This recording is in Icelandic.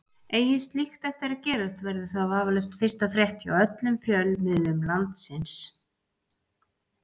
Eigi slíkt eftir að gerast verður það vafalaust fyrsta frétt hjá öllum fjölmiðlum landsins.